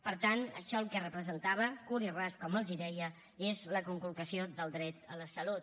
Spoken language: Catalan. per tant això el que representava curt i ras com els deia és la conculcació del dret a la salut